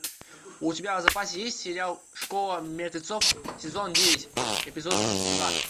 у тебя в запасе есть сериал школа мертвецов сезон девять эпизод два